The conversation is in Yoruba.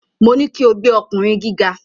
Mo ní kí o gbẹ́ ọkùnrin gíga.